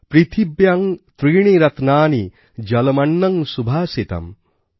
পৃথিব্যাং ত্রীণি রত্নানি জলমন্নং সুভাষিতম্